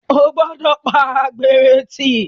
O gbọ́dọ̀ pa àgbèrè tì.